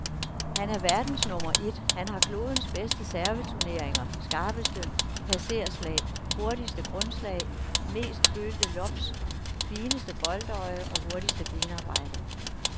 Han er verdens nummer et, han har klodens bedste servereturneringer, skarpeste passerslag, hurtigste grundslag, mest følte lobs, fineste boldøje og hurtigste benarbejde.